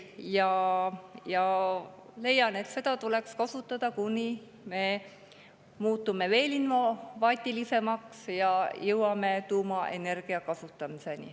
Ja ma leian, et neid tuleks kasutada, kuni me muutume veel innovaatilisemaks ja jõuame tuumaenergia kasutamiseni.